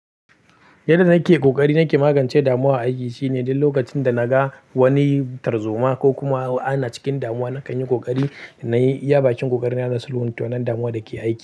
Yadda nake ƙoƙari nake magance damuwa a aiki shine duk lokacin da na ga wani tarzoma ko kuma ana cikin damuwa, na kan yi ƙoƙari na yi iya bakin ƙoƙari na nuna sulhuwa ta nan damuwa da ke aiki.